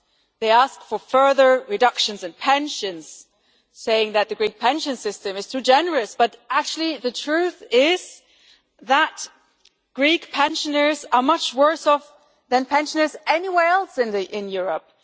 They ask for further reductions in pensions, saying that the Greek pension system is too generous, but actually the truth is that Greek pensioners are much worse off than pensioners anywhere else in Europe.